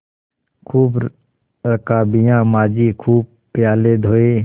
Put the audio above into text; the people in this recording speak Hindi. खूब रकाबियाँ माँजी खूब प्याले धोये